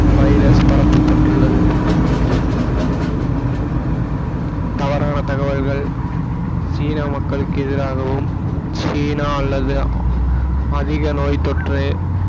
virus பரப்பப்பட்டுள்ளது தவறான தகவல்கள் சீன மக்களுக்கு எதிராகவும் சீனா அல்லது அதிக நோய் தொற்று